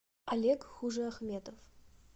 олег хужеахметов